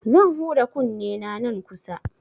Zan huda kunnena nan kusa.